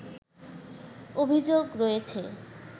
অভিযোগ রয়েছে